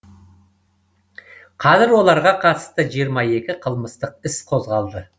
қазір оларға қатысты жиырма екі қылмыстық іс қозғалды